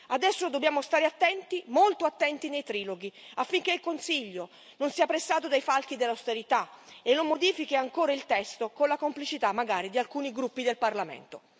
Adesso dobbiamo stare attenti, molto attenti, nei triloghi, affinché il Consiglio non sia pressato dai falchi dell'austerità e non modifichi ancora il testo con la complicità, magari, di alcuni gruppi del Parlamento.